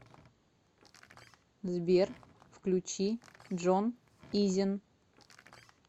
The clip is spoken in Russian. сбер включи джон изен